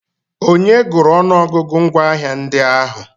Onye gụrụ ọnụọgụgụ ngwaahịa ndị ahụ?